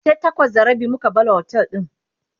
sai takwas da rabi muka bar otel din